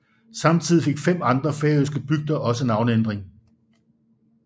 Samtidig fik fem andre færøske bygder også navneændring